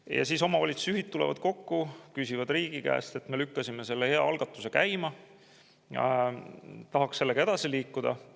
Ja siis tulevad omavalitsusjuhid kokku ja riigile, et nad lükkasid selle hea algatuse käima ja tahaks sellega edasi liikuda.